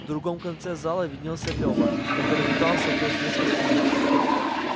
в другом конце зала виднелся лева который метался вдоль шведской стены